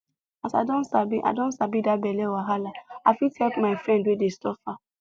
as i don sabi i don sabi that belle wahala i fit help my friend wey dey suffer